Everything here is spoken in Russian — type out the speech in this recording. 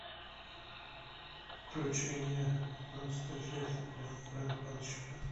включи мне пятнадцатая часть ванпанчмен